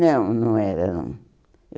Não, não era, não.